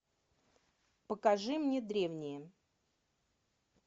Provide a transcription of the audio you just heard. покажи мне древние